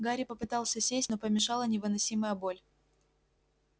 гарри попытался сесть но помешала невыносимая боль